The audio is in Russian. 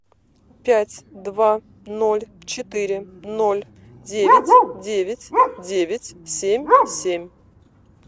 пять два ноль четыре ноль девять девять девять семь семь